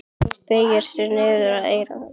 Hún beygir sig niður að eyra hans.